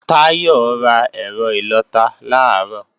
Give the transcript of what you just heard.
Táyọ̀ ra ẹ̀rọ ìlọta làárọ̀